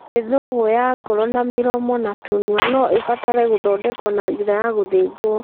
Mĩthũgũ ya ngoro na mĩromo na tũnua no ibatare gũthondekwo na njĩra ya gũthĩnjwo.